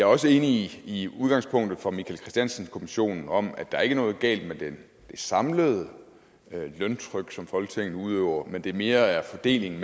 også enig i udgangspunktet for michael christiansen kommissionen om at der ikke er noget galt med det samlede løntryk som folketinget udøver men at det mere er fordelingen